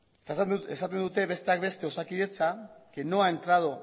eta esaten dute besteak beste osakidetza que no ha entrado